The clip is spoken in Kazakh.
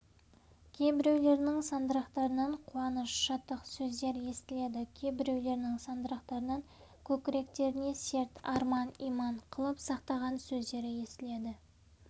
кейбіреулерінің сандырақтарынан қуаныш шаттық сөздер естіледі кейбіреулерінің сандырақтарынан көкіректеріне серт арман иман қылып сақтаған сөздері естіледі